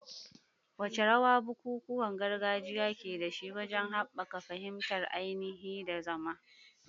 Wace rawa bukukuwan gargajiya ke da shi wajen haɓaka fahimtar ainihi da zama?